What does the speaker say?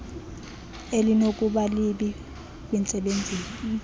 elinokuba libi kwintsebenzo